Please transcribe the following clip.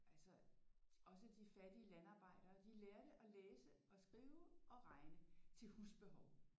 Altså også at de fattige landarbejdere de lærte at læse og skrive og regne til husbehov